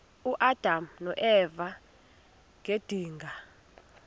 uadam noeva ngedinga